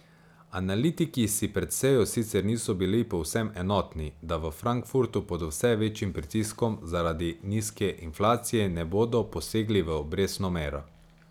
Analitiki si pred sejo sicer niso bili povsem enotni, da v Frankfurtu pod vse večjim pritiskom zaradi nizke inflacije ne bodo posegli v obrestno mero.